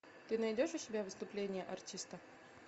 ты найдешь у себя выступление артиста